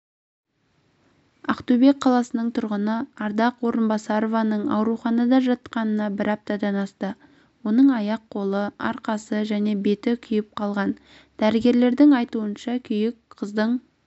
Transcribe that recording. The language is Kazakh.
ақтөбе қаласының тұрғыны ардақ орынбасарованың ауруханада жатқанына бір аптадан асты оның аяқ-қолы арқасы және беті күйіп қалған дәрігерлердің айытуынша күйік қыздың